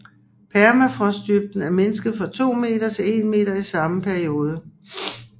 Permafrostdybden er mindsket fra 200 m til 100 m i samme periode